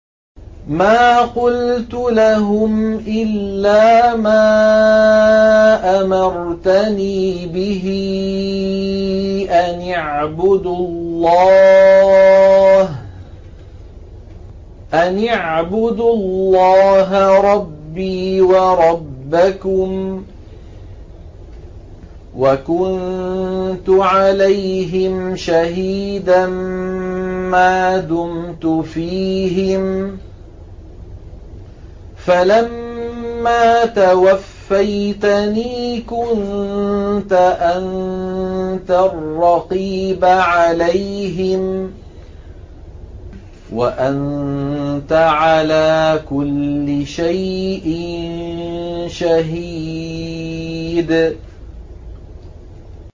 مَا قُلْتُ لَهُمْ إِلَّا مَا أَمَرْتَنِي بِهِ أَنِ اعْبُدُوا اللَّهَ رَبِّي وَرَبَّكُمْ ۚ وَكُنتُ عَلَيْهِمْ شَهِيدًا مَّا دُمْتُ فِيهِمْ ۖ فَلَمَّا تَوَفَّيْتَنِي كُنتَ أَنتَ الرَّقِيبَ عَلَيْهِمْ ۚ وَأَنتَ عَلَىٰ كُلِّ شَيْءٍ شَهِيدٌ